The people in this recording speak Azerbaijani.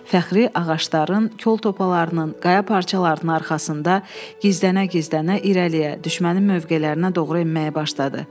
Fəxri ağacların, kol topalarının, qaya parçalarının arxasında gizlənə-gizlənə irəliyə düşmənin mövqelərinə doğru enməyə başladı.